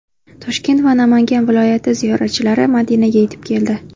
Toshkent va Namangan viloyati ziyoratchilari Madinaga yetib keldi.